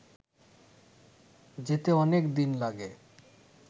যেতে অনেক দিন লাগে